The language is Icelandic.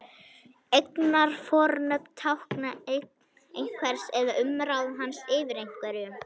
Eignarfornöfn tákna eign einhvers eða umráð hans yfir einhverju.